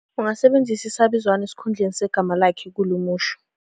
Ungasebenzisa isabizwana esikhundleni segama lakhe kulo musho.